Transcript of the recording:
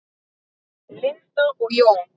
Linda og Jón.